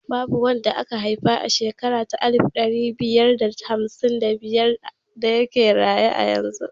Babu wanda aka haifa a shekara ta alif ɗari biyar da hamsin da biyar da yake raye har yanzu